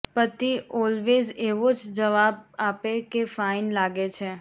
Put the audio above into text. પતિ ઓલવેઝ એવો જ જવાબ આપે કે ફાઇન લાગે છે